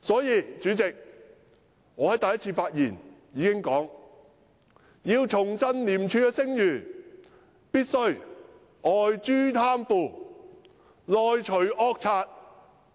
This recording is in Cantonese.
因此，主席，我在第一次發言時便曾指出，要重振廉署的聲譽，便必須外誅貪腐，內除惡賊。